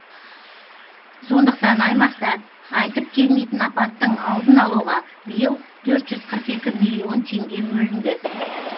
сондықтан аймақта айтып келмейтін апаттың алдын алуға биыл төрт жүз қырық екі миллион теңге бөлінді